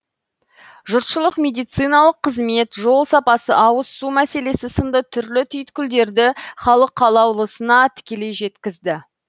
жұртшылық медициналық қызмет жол сапасы ауыз су мәселесі сынды түрлі түйткілдерді халық қалаулысына тікелей жеткізді